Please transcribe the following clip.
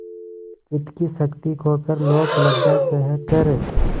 चित्त की शक्ति खोकर लोकलज्जा सहकर